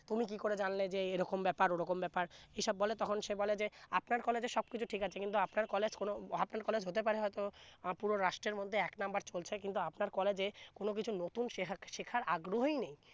তুমি কি করে জানলে যে এই রকম ব্যাপার ওরকম ব্যাপার এই সব বলে তখন সে বলে আপনার college এ সব কিছু ঠিক আছে কিন্তু আপানার college কোন college হতে পারে হয়তো আহ পুরো রাষ্ট্রের মধ্যে এক নাম্বার চলছে কিন্তু আপনার college এ কোন কিছু নতুন শেহাগ শেখার আগ্রহই নেই